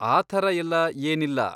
ಆ ಥರ ಎಲ್ಲ ಏನಿಲ್ಲ.